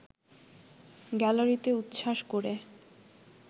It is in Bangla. গ্যালারিতে উচ্ছ্বাস করে